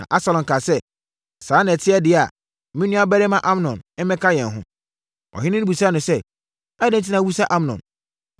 Na Absalom kaa sɛ, “Sɛ saa na ɛte deɛ a, ma me nuabarima Amnon mmɛka yɛn ho.” Ɔhene no bisaa no sɛ, “Adɛn enti na wobisa Amnon?”